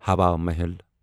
ہوا محل